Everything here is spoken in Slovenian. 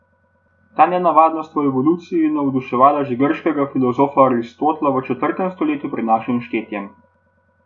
Ta nenavadnost v evoluciji je navduševala že grškega filozofa Aristotela v četrtem stoletju pred našim štetjem.